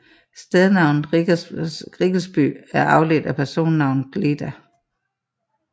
Stednavnet Riggelsby er afledt af personnavnet glda